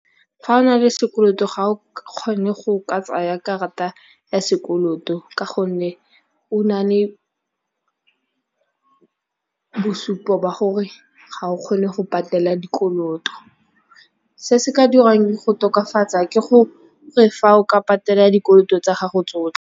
Ga o na le sekoloto ga o kgone go ka tsaya karata ya sekoloto ka gonne, o na le bosupo ba gore ga o kgone go patela dikoloto. Se se ka dirwang go tokafatsa ke gore fa o ka patela dikoloto tsa gago tsotlhe.